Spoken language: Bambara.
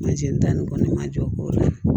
Mansin da ni kɔni ma jɔ